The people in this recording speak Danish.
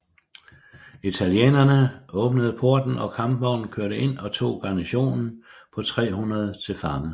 Italienerne åbnede porten og kampvognen kørte ind og tog garnisonen på 300 til fange